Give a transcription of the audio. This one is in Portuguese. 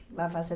Vai fazer